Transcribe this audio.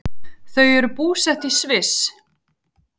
Þau eru búsett í Sviss.